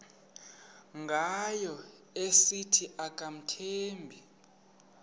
ngayo esithi akamthembi